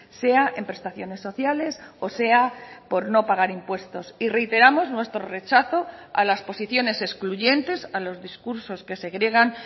sea en prestaciones sociales o sea por no pagar impuestos y reiteramos nuestro rechazo a las posiciones excluyentes a los discursos que segregan